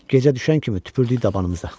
Gecə düşən kimi tüpürdük dabanımıza.